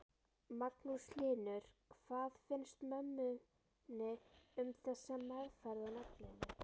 Magnús Hlynur: Hvað finnst mömmunni um þessa meðferð á nafninu?